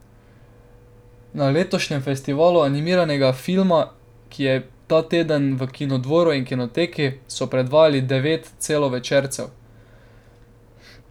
Na letošnjem festivalu animiranega filma, ki je bil ta teden v Kinodvoru in Kinoteki, so predvajali devet celovečercev.